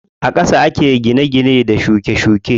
A ƙasa ake gine gine da shuke shuke.